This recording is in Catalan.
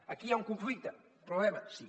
aquí hi ha un conflicte problema sí